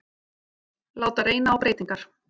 Láta reyna á breytingar